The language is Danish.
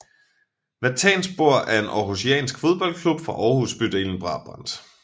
Vatanspor er en aarhusiansk fodboldklub fra Aarhus bydelen Brabrand